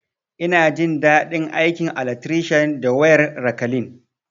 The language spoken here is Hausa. Ina jin dadi aikin alatrishan da wayar rakalin